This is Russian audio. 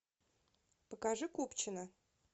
покажи купчино